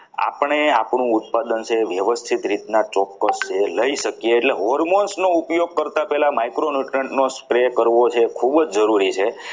આપણે આપણું ઉત્પાદન છે એ વ્યવસ્થિત રીતના ચોક્કસ જે લઈ શકીએ એટલે hormones નો ઉપયોગ કરતા પહેલા micro newtriunt કરવું છે જે ખૂબ જ જરૂરી છે.